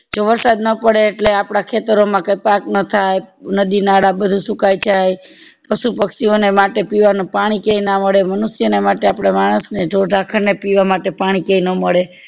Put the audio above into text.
જો વરસાદ ના પડે એટલે આપદા ખેતરો માં કંઈ પાક નો થાય નદી નાળા બધું સુકાય જાય પશુ પક્ષી ઓ ને માટે પીવાનું પાણી કે ના મળે મનુષ્ય ને માટે આપડે માણસ ને, ઢોર ધાફળ ને પીવા માટે પાણી ક્યાય ના મળે